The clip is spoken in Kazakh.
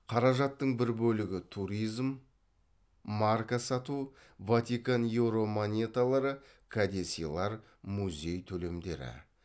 қаражаттың бір бөлігі туризм марка сату ватикан еуро монеталары кәдесыйлар музей төлемдері